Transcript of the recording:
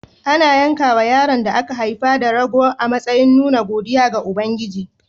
Ana yankawa yaron da aka haifa rago a matsayin nuna godiya ga Ubangiji.